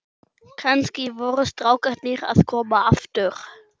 Kannski voru strákarnir að koma aftur.